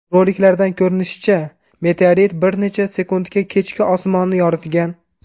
Roliklardan ko‘rinishicha, meteorit bir necha sekundga kechki osmonni yoritgan.